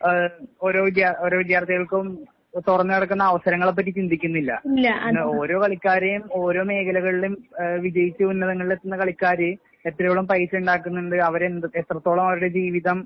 ഏഹ് ഓരോ വിദ്യാ ഓരോ വിദ്യാർത്ഥികൾക്കും തൊറന്ന് കെടക്കുന്ന അവസരങ്ങളെപ്പറ്റി ചിന്തിക്കുന്നില്ല. ഓരോ കളിക്കാരേം ഓരോ മേഖലകളിലും ഏഹ് വിജയിച്ച് ഉന്നതങ്ങളിലെത്തുന്ന കളിക്കാര് എത്രയോളം പൈസ ഉണ്ടാക്കുന്നുണ്ട് അവരെന്ത് എത്രത്തോളം അവരുടെ ജീവിതം